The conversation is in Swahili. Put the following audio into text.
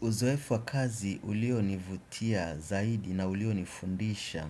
Uzoefu wa kazi ulionivutia zaidi na ulionifundisha